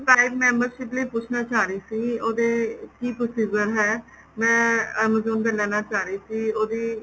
prime membership ਲਈ ਪੁੱਛਣਾ ਚਾਹ ਰਹੀ ਸੀ ਉਹਦਾ ਕੀ procedure ਏ ਮੈਂ amazon ਦੀ ਲੈਣਾ ਚਾਹ ਰਹੀ ਸੀ ਉਹਦੀ